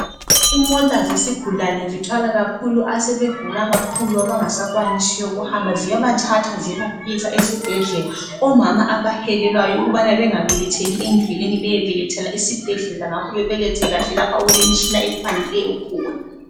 Imota zesigulane zithwala kakhulu asebegula kakhulu abangasakwanisiyo ukuhamba, ziyabathathaa ziyebafikisa esibhedlela, omama abahelelwayo ukubana bengabeletheli endleleni beyebelethela esibhedlela ngakho bebelethe kahle lapha okulemitshina ekwanileyo khona